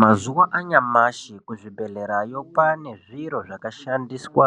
Mazuwa anyamashi kuzvibhedhlerayo kwane zviro zvakashandiswa